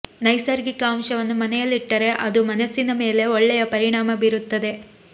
ನೈಸರ್ಗಿಕ ಅಂಶವನ್ನು ಮನೆಯಲ್ಲಿಟ್ಟರೆ ಅದು ಮನಸ್ಸಿನ ಮೇಲೆ ಒಳ್ಳೆಯ ಪರಿಣಾಮ ಬೀರುತ್ತದೆ